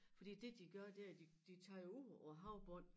Fordi det de gør det er de de tager jo ud på æ havbund